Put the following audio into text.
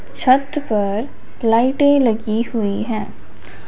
छत पर लाइटें लगी हुई है।